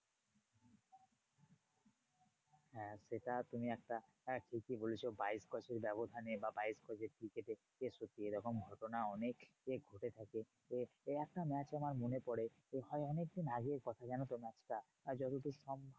হ্যাঁ সেটা তুমি একটা ঠিকই বলেছো বাইশ গজের ব্যাবধানে বা বাইশ গজের cricket এ সত্যি এরকম ঘটনা অনেক ঘটে থাকে। একটা match আমার মনে পরে হয় অনেকদিন আগের কথা জানতো match টা। যতদূর সম্ভব